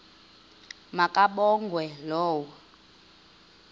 ma kabongwe low